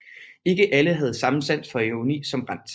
Ikke alle havde samme sans for ironi som Brandt